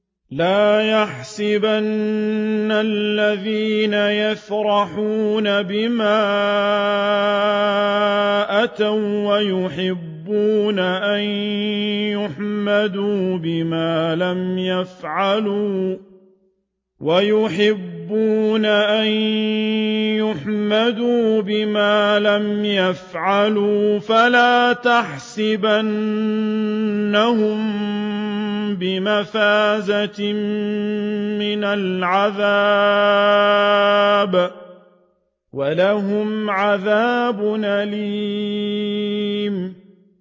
لَا تَحْسَبَنَّ الَّذِينَ يَفْرَحُونَ بِمَا أَتَوا وَّيُحِبُّونَ أَن يُحْمَدُوا بِمَا لَمْ يَفْعَلُوا فَلَا تَحْسَبَنَّهُم بِمَفَازَةٍ مِّنَ الْعَذَابِ ۖ وَلَهُمْ عَذَابٌ أَلِيمٌ